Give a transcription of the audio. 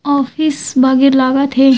Office वगेर लगत थे।